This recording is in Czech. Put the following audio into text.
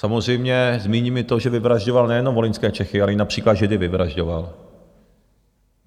Samozřejmě zmíním i to, že vyvražďoval nejenom volyňské Čechy, ale i například Židy vyvražďoval.